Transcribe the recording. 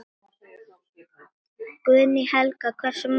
Guðný Helga: Hversu margir?